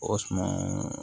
O suman